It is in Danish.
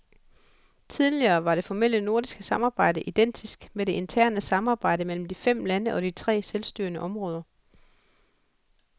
Tidligere var det formelle nordiske samarbejde identisk med det interne samarbejde mellem de fem lande og de tre selvstyrende områder.